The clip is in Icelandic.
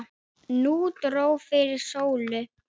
Nú dró fyrir sólu.